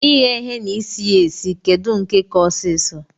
Ighe ihe na isi ya esi kedu nke ka ọsisọ?